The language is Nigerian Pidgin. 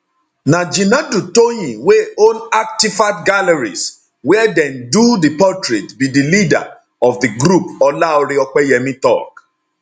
na jinadu toyin wey own artifact galleries wia dem do di portrait be di leader of di group olaore opeyemi tok